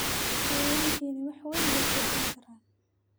xayawaankani wax weyn bay ku kordhin karaan.